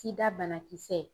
SIDA bana kisɛ.